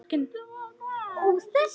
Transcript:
Hvenær getum við farið?